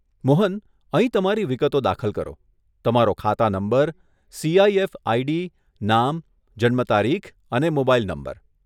મોહન, અહીં તમારી વિગતો દાખલ કરો, તમારો ખાતા નંબર, સીઆઈએફ આઈડી, નામ, જન્મતારીખ અને મોબાઈલ નંબર.